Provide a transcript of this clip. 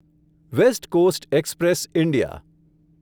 waste coast express India